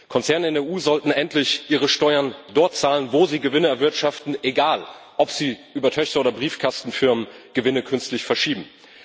Konzerne in der EU sollten endlich ihre Steuern dort zahlen, wo sie Gewinne erwirtschaften egal, ob sie über Tochter oder Briefkastenfirmen Gewinne künstlich verschieben.